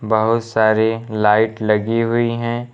बहुत सारी लाइट लगी हुई हैं।